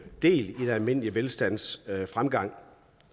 del i den almindelige velstandsfremgang